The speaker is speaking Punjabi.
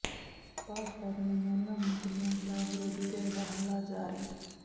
ਭਾਜਪਾ ਦੀਆਂ ਮਹਿਲਾ ਮੰਤਰੀਆਂ ਖ਼ਿਲਾਫ਼ ਵਿਰੋਧੀ ਧਿਰ ਦਾ ਹੱਲਾ ਜਾਰੀ